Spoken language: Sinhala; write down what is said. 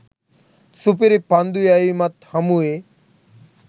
සුපිරි පන්දු යැවීමත් හමුවේ